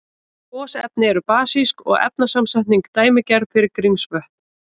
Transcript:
Gosefni eru basísk og efnasamsetningin dæmigerð fyrir Grímsvötn.